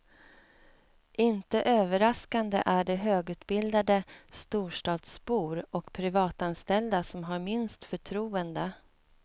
Inte överraskande är det högutbildade, storstadsbor och privatanställda som har minst förtroende.